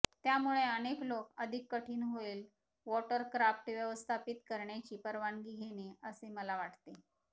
त्यामुळे अनेक लोक अधिक कठीण होईल वॉटरक्राफ्ट व्यवस्थापित करण्याची परवानगी घेणे असे मला वाटते